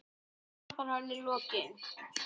Þó tapar hann í lokin.